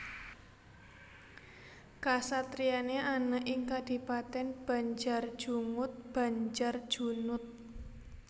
Kasatriyane ana ing Kadipaten Banjarjungut Banjarjunut